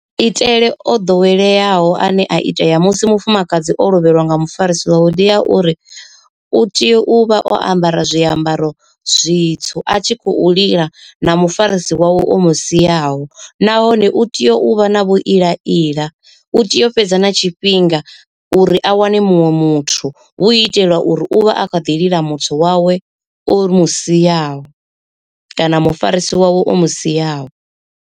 Itele o ḓoweleaho ane a itea musi mufumakadzi o lovheliwa nga mufarisi wawe ndia uri, u tea u vha o ambara zwiambaro zwitsu a tshi khou lila na mufarisi wawe o mu siaho, nahone u teyo u vha na vhu ila ila, u tea u fhedza na tshifhinga uri a wane muṅwe muthu hu itela uri u vha a kha ḓi lila muthu wawe o mu siaho, kana mufarisi wawe o mu siaho.